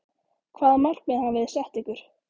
Hvaða markmið hafi þið sett ykkur?